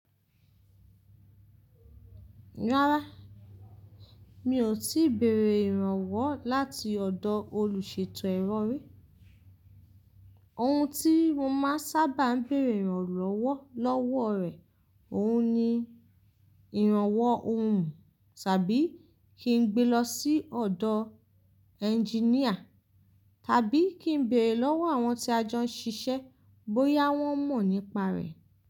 Rárá, mi ò tíì béèrè ìrànwọ́ láti ọ̀dọ̀ olùṣètò ero rí. Ohun tí mo máa sábà ń béèrè ìrànlọ́wọ́ lọ́wọ́ rẹ̀, òun ni ìrànwọ́ ohun tàbí kí n gbe lọ sí ọ̀dọ̀ ẹnginíà tàbí kí n béèrè lọ́wọ́ àwọn tí a jọ ń ṣiṣẹ́ bóyá wọ́n mọ̀ nípa rẹ̀.